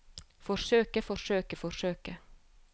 forsøke forsøke forsøke